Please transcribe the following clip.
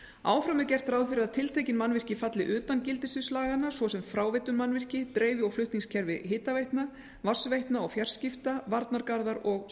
áfram er gert ráð fyrir að tiltekin mannvirki falli utan gildissviðs laganna svo sem fráveitumannvirki dreifi og flutningskerfi hitaveitna vatnsveitna og fjarskipta varnargarðar og